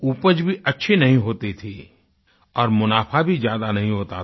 उपज भी अच्छी नहीं होती थी और मुनाफ़ा भी ज़्यादा नहीं होता था